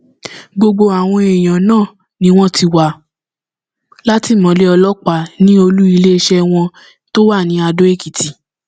gbogbo àwọn èèyàn náà ni wọn ti wà látìmọlé ọlọpàá ní olú iléeṣẹ wọn tó wà ní adó èkìtì